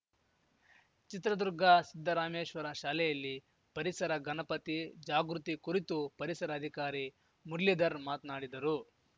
ಚಿತ್ರದುರ್ಗ ಸಿದ್ದರಾಮೇಶ್ವರ ಶಾಲೆಯಲ್ಲಿ ಪರಿಸರ ಗಣಪತಿ ಜಾಗೃತಿ ಕುರಿತು ಪರಿಸರ ಅಧಿಕಾರಿ ಮುರುಳಿಧರ್‌ ಮಾತ್ನಾಡಿದರು